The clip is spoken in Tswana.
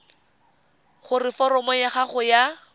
gore foromo ya gago ya